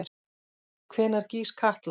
Hvenær gýs Katla?